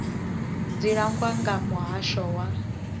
dzi langwa nga muhasho wa